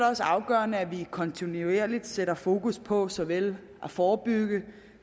også afgørende at vi kontinuerligt sætter fokus på såvel at forebygge